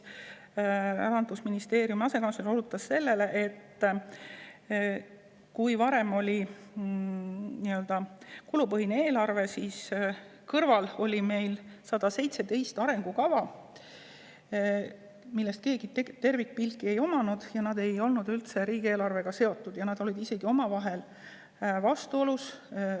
Rahandusministeeriumi asekantsler osutas sellele, et varem, kui meil oli kulupõhine eelarve, siis oli kõrval 117 arengukava, millest kellelgi tervikpilti ei olnud, arengukavad ei olnud üldse riigieelarvega seotud ja need olid isegi omavahel vastuolus.